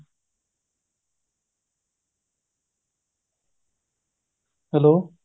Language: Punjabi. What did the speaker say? hello